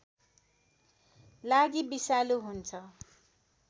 लागि विषालु हुन्छ